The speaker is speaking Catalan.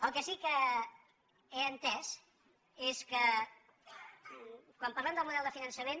el que sí que he entès és que quan parlem del model de finançament